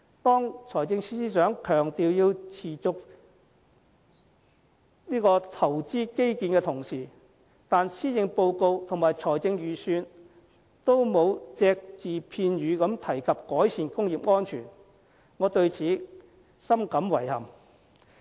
當財政司司長強調要持續投資基建的同時，但施政報告和預算案都沒有隻字片語提及改善工業安全，我對此深感遺憾。